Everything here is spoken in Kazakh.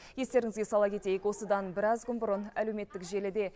естеріңізге сала кетейік осыдан біраз күн бұрын әлеуметтік желіде